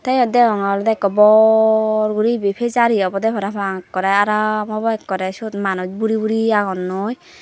tey yot degongoey olodey ikko bor guri ibey fijari obodey parapang ekkorey aaram obo ekkorey syot manuj buri buri agonnoi.